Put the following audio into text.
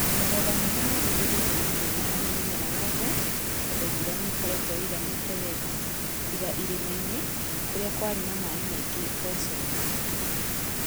Magetha marĩa merĩgĩrĩirwo nĩ mega harĩ mĩmera yothe tondũ mbura nĩ ĩkoretwo ĩĩganete wega. Tiga irĩma-inĩ kũrĩa kwarĩ na maĩ maingĩ mboco-inĩ.